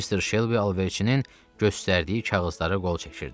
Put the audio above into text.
Mister Şelbi alverçinin göstərdiyi kağızlara qol çəkirdi.